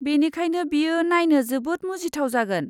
बेनिखायनो बेयो नायनो जोबोद मुजिथाव जागोन।